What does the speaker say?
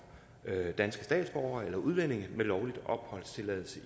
danske statsborgere eller udlændinge med lovlig opholdstilladelse i